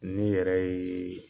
N'i yɛrɛ ye